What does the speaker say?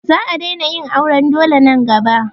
Za a daina yin auran dole nan gaba.